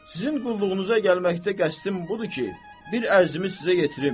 Sizin qulluğunuza gəlməkdə qəsdin budur ki, bir ərzimi sizə yetirim.